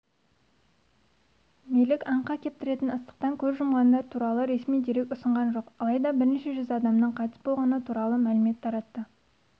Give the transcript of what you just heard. билік аңқа кептіретін ыстықтан көз жұмғандар туралы ресми дерек ұсынған жоқ алайда бірнеше жүз адамның қайтыс болғаны туралы мәлімет таратты